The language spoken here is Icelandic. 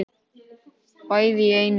Bæði í einu.